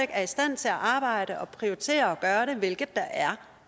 er i stand til at arbejde og prioriterer at gøre det hvilket der er